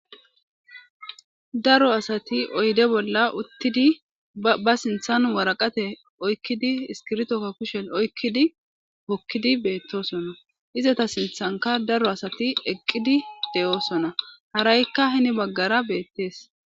Daro asati oyde bolla uttidi ba sinthan waraqate oykkidi iskirtoka kushen oykkidi hokkidi beettosona izata sinthanka daro asati eqqidi de7oosona haraykka hini baggara beettees.